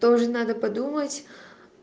тоже надо подумать